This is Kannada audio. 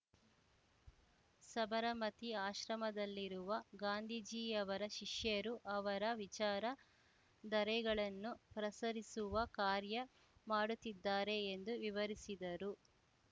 ಸಬರಮತಿ ಆಶ್ರಮದಲ್ಲಿರುವ ಗಾಂಧೀಜಿಯವರ ಶಿಷ್ಯರು ಅವರ ವಿಚಾರ ಧರೆಗಳನ್ನು ಪ್ರಸರಿಸುವ ಕಾರ್ಯ ಮಾಡುತ್ತಿದ್ದಾರೆ ಎಂದು ವಿವರಿಸಿದರು